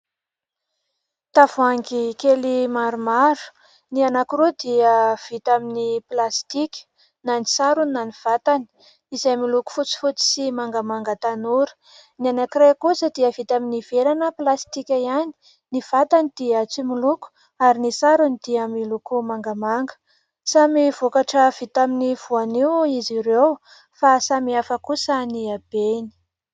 Tavoangy kely maromaro ny anankirooa dia vita amin'ny plasitika, na ny sarony na ny vatany izay miloko fotsifotsy sy mangamanga tanora. Ny anankiray kosa dia vita amin'ny vera na plasitika ihany, ny vatany dia tsy moloko ary ny sarony dia miloko mangamanga. Samy vokatra vita amin'ny voanio izy ireo fa samy hafa kosa ny abeany.